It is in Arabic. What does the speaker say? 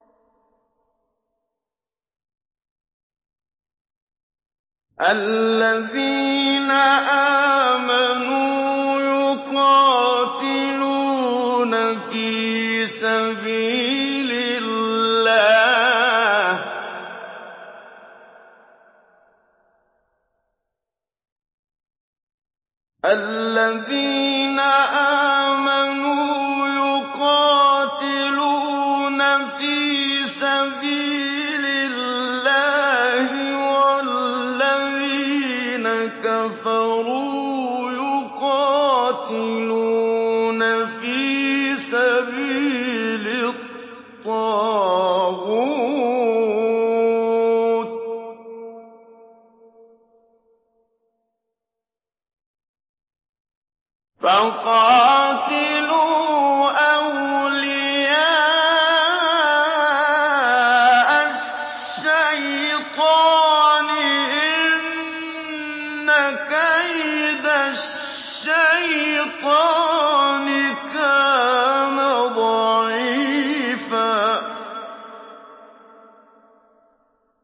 الَّذِينَ آمَنُوا يُقَاتِلُونَ فِي سَبِيلِ اللَّهِ ۖ وَالَّذِينَ كَفَرُوا يُقَاتِلُونَ فِي سَبِيلِ الطَّاغُوتِ فَقَاتِلُوا أَوْلِيَاءَ الشَّيْطَانِ ۖ إِنَّ كَيْدَ الشَّيْطَانِ كَانَ ضَعِيفًا